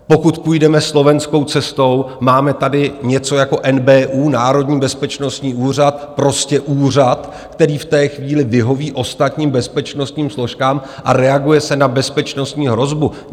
Pokud půjdeme slovenskou cestou, máme tady něco jako NBÚ, Národní bezpečnostní úřad, prostě úřad, který v té chvíli vyhoví ostatním bezpečnostním složkám, a reaguje se na bezpečnostní hrozbu.